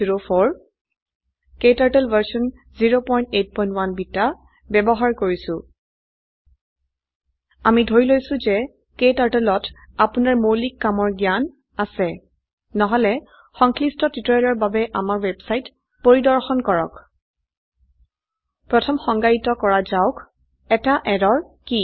ক্টাৰ্টল version 081 beta বয়ৱহাৰ কৰিছো আমি ধৰি লৈছো যে ক্টাৰ্টল ত আপোনাৰ মৌলিক কামৰ জ্ঞান আছে নহলে সংশ্লিষ্ট টিউটোৰিয়েলৰ বাবে আমাৰ ওয়েবসাইট পৰিৰ্দশন কৰক httpspoken tutorialorg প্ৰথম সংজ্ঞায়িত কৰা যাক এটা এৰৰ কি